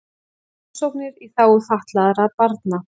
Rannsóknir í þágu fatlaðra barna